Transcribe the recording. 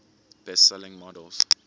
best selling models